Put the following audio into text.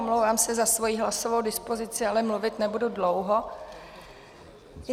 Omlouvám se za svoji hlasovou dispozici, ale mluvit nebudu dlouho.